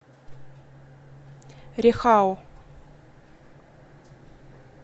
рехау